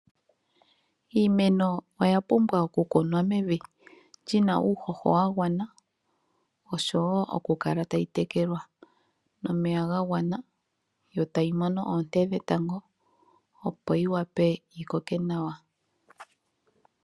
Iimeno oya pumbwa oku kunwa mevi lina uuhoho wa gwana oshowo okukala tayi tekelwa nomeya ga gwana, yo tayi mono oonte dhetango opo yi wape yi koke nawa.